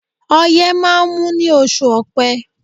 Ọyẹ́ máa ń mú ní oṣù ọpẹ́